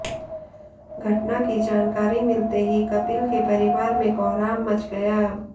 घटना की जानकारी मिलते ही कपिल के परिवार में कोहराम मच गया